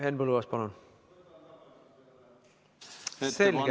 Henn Põlluaas, palun!